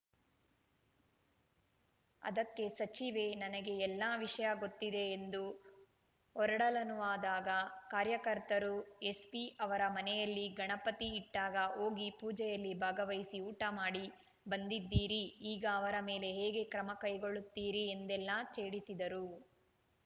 ಅದಕ್ಕೆ ಸಚಿವೆ ನನಗೆ ಎಲ್ಲಾ ವಿಷಯ ಗೊತ್ತಿದೆ ಎಂದು ಹೊರಡಲನುವಾದಾಗ ಕಾರ್ಯಕರ್ತರು ಎಸ್ಪಿ ಅವರ ಮನೆಯಲ್ಲಿ ಗಣಪತಿ ಇಟ್ಟಾಗ ಹೋಗಿ ಪೂಜೆಯಲ್ಲಿ ಭಾಗವಹಿಸಿ ಊಟ ಮಾಡಿ ಬಂದಿದ್ದೀರಿ ಈಗ ಅವರ ಮೇಲೆ ಹೇಗೆ ಕ್ರಮ ಕೈಗೊಳ್ಳುತ್ತೀರಿ ಎಂದೆಲ್ಲಾ ಛೇಡಿಸಿದರು